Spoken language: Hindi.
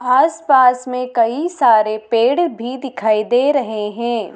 आस पास में कई सारे पेड़ भी दिखाई दे रहे हैं।